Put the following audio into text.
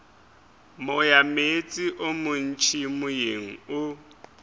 moyameetse o montši moyeng o